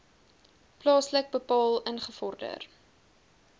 plaaslik bepaal ingevorder